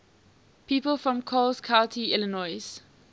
people from coles county illinois